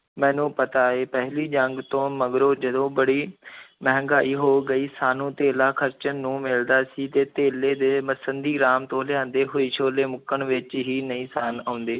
ਮੈਨੂੰ ਪਤਾ ਹੈ, ਪਹਿਲੀ ਜੰਗ ਤੋਂ ਮਗਰੋਂ ਜਦੋਂ ਬੜੀ ਮਹਿੰਗਾਈ ਹੋ ਗਈ, ਸਾਨੂੰ ਧੇਲਾ ਖ਼ਰਚਣ ਨੂੰ ਮਿਲਦਾ ਸੀ ਤੇ ਧੇਲੇ ਦੇ ਮਸੱਦੀ ਰਾਮ ਤੋਂ ਲਿਆਂਦੇ ਹੋਏ ਛੋਲੇ ਮੁੱਕਣ ਵਿੱਚ ਹੀ ਨਹੀਂ ਸਨ ਆਉਂਦੇ।